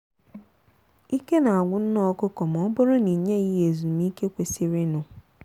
ike na agwụ nne ọkụkọ ma ọbụrụ na i nyeghị ya ezumiike kwesịrịnụ